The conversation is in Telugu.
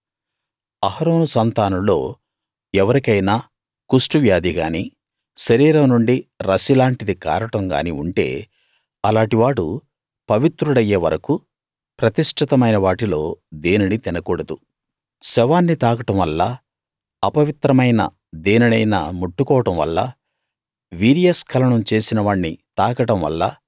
అహరోను సంతానంలో ఎవరికైనా కుష్టువ్యాధి గానీ శరీరం నుండి రసి లాంటిది కారడం గానీ ఉంటే అలాటి వాడు పవిత్రుడయ్యే వరకూ ప్రతిష్ఠితమైన వాటిలో దేనినీ తినకూడదు శవాన్ని తాకడం వల్లా అపవిత్రమైన దేనినైనా ముట్టుకోవడం వల్లా వీర్యస్కలనం చేసిన వాణ్ణి తాకడం వల్లా